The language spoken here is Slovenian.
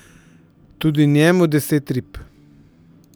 Tudi njemu deset rib.